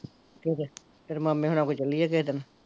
ਠੀਕ ਐ ਫਿਰ ਤੇਰੇ ਮਾਮੇ ਹੁਣਾ ਕੋਲ ਚੱਲੀਏ ਕਿਹੇ ਦਿਨ